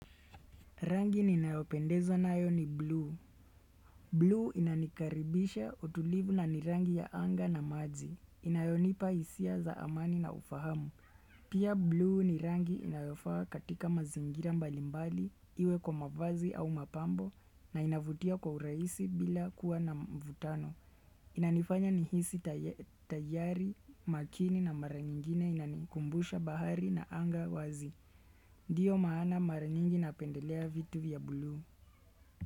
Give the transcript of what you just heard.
Rangi ninayopendezwa nayo ni buluu. Buluu inanikaribisha utulivu na ni rangi ya anga na maji inayonipa hisia za amani na ufahamu. Pia buluu ni rangi inayofaa katika mazingira mbalimbali iwe kwa mavazi au mapambo na inavutia kwa urahisi bila kuwa na mvutano. Inanifanya nihisi taya tayari, makini na mara nyingine inanikumbusha bahari na anga wazi Ndiyo maana mara nyingi napendelea vitu vya buulu.